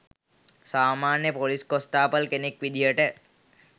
සාමාන්‍ය ‍police constable කෙනෙක් විදිහට